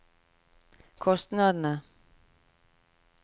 kostnadene